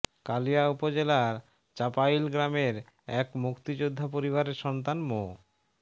কালিয়া উপজেলার চাপাইল গ্রামের এক মুক্তিযোদ্ধা পরিবারের সন্তান মো